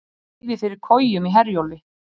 Leyfi fyrir kojum í Herjólfi